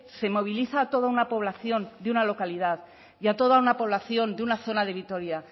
se moviliza toda una población de una localidad y a toda una población de una zona de vitoria